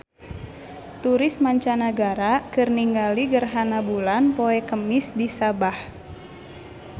Turis mancanagara keur ningali gerhana bulan poe Kemis di Sabah